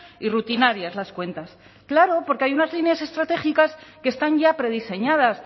y rutinarias las cuentas claro porque hay unas líneas estratégicas que están ya prediseñadas